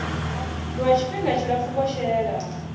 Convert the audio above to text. lwa tshifhinga tshipfufhi vho shela